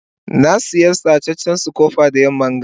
na Siya sacecen scooper da yamman ga.